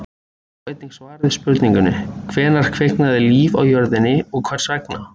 Sjá einnig svar við spurningunni: Hvenær kviknaði líf á jörðinni og hvers vegna?